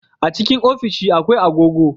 A cikin ofishi akwai agogo